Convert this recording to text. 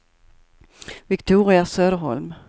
Viktoria Söderholm